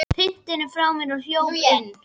Hrinti henni frá mér og hljóp inn.